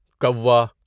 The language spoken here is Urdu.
کوا